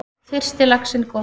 Fyrsti laxinn kominn